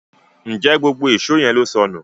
Njé gbógbó Èṣó yén ló sọnù?